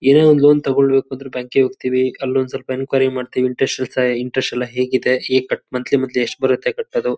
ಏನೇ ಒಂದ್ ಲೋನ್ ತಗೊಳ್ಬೇಕು ಅಂದ್ರೆ ಬ್ಯಾಂಕ್ ಕಿಗ್ ಹೋಗತೀವಿ ಅಲ್ಲೊಂದ್ ಸ್ವಲ್ಪ ಎನ್ಕ್ವರಿ ಮಾಡ್ತಿವಿ ಇಂಟ್ರೆಸ್ಟ್ ಇಂಟ್ರೆಸ್ಟ್ ಎಲ್ಲಾ ಹೇಗಿದೆ ಹೇಗ್ ಕಟ್ ಮಂಥ್ಲಿ ಮಂಥ್ಲಿ ಎಷ್ಟ್ ಬರತ್ತ್ ಕಟ್ಟೋದು.